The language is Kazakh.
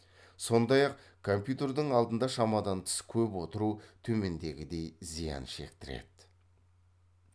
сондай ақ компьютердің алдында шамадан тыс көп отыру төмендегідей зиян шектіреді